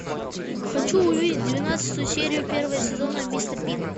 хочу увидеть двенадцатую серию первого сезона мистер бин